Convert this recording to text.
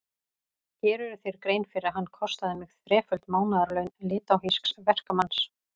Gerirðu þér grein fyrir að hann kostaði mig þreföld mánaðarlaun litháísks verkamanns?